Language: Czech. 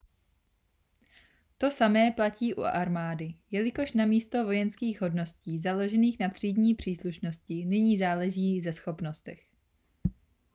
to samé platí u armády jelikož namísto vojenských hodností založených na třídní příslušnosti nyní záleží ze schopnostech